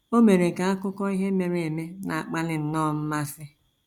O mere ka akụkọ ihe mere eme na - akpali nnọọ mmasị!